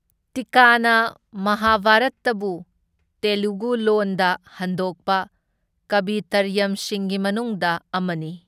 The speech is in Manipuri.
ꯇꯤꯛꯀꯅ ꯃꯍꯚꯔꯇꯕꯨ ꯇꯦꯂꯨꯒꯨ ꯂꯣꯟꯗ ꯍꯟꯗꯣꯛꯄ ꯀꯕꯤꯇ꯭ꯔꯌꯝꯁꯤꯡꯒꯤ ꯃꯅꯨꯡꯗ ꯑꯃꯅꯤ꯫